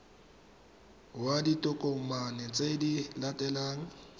ya ditokomane tse di latelang